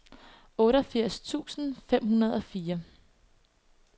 otteogfirs tusind fem hundrede og fire